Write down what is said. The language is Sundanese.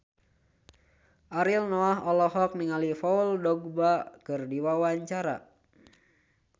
Ariel Noah olohok ningali Paul Dogba keur diwawancara